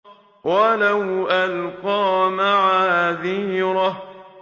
وَلَوْ أَلْقَىٰ مَعَاذِيرَهُ